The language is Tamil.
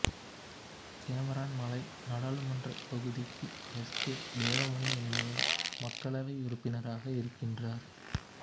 கேமரன் மலை நாடாளுமன்றத் தொகுதிக்கு எஸ் கே தேவமணி என்பவர் மக்களவை உறுப்பினராக இருக்கின்றார்